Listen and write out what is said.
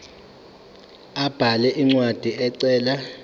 abhale incwadi ecela